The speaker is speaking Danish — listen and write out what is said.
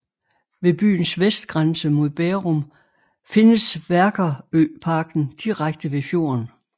Ved byens vestgrænse mod Bærum findes Vækerøparken direkte ved fjorden